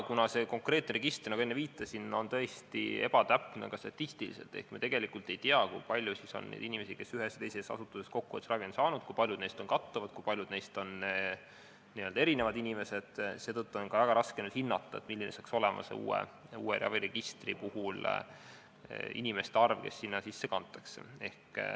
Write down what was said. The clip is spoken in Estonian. Kuna see register, nagu ma enne viitasin, on tõesti ebatäpne ka statistiliselt ehk me tegelikult ei tea, kui palju on neid inimesi, kes ühes või teises asutuses abi on saanud, kui paljud neist kattuvad ja kui palju on nende hulgas erinevaid inimesi, siis on väga raske hinnata, milline hakkab uues registris olema inimeste arv, kes sinna kantakse.